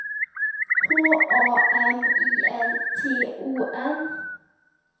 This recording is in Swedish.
H A M I L T O N